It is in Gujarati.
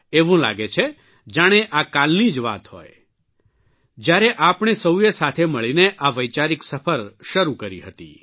એવું લાગે છે જાણે આ કાલની જ વાત હોય જયારે આપણે સૌએ સાથે મળીને આ વૈચારિક સફર શરૂ કરી હતી